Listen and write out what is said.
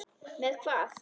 Með hvað?